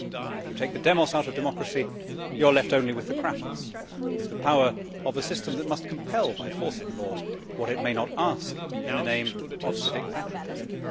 If you take the out of democracy you are left only with the with the power of a system that must compel by force of law what it may not ask in the name of civic patriotism.